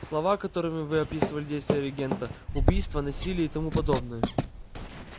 слова которыми вы описали действия регента убийства насилие и тому подобное